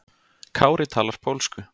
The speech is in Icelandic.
Kári talar pólsku.